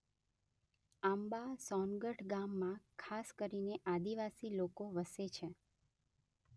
આંબા સોનગઢ ગામમાં ખાસ કરીને આદિવાસી લોકો વસે.